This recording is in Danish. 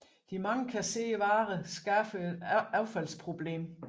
De mange kasserede varer skaber et affaldsproblem